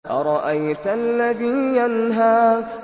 أَرَأَيْتَ الَّذِي يَنْهَىٰ